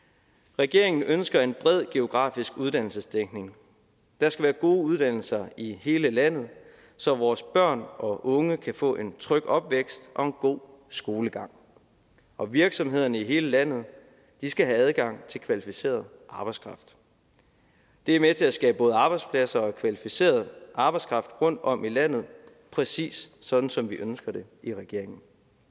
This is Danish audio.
regeringen ønsker en bred geografisk uddannelsesdækning der skal være gode uddannelser i hele landet så vores børn og unge kan få en tryg opvækst og en god skolegang og virksomhederne i hele landet skal have adgang til kvalificeret arbejdskraft det er med til at skabe både arbejdspladser og kvalificeret arbejdskraft rundtom i landet præcis sådan som vi ønsker det i regeringen